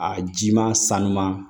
A jiman sanuya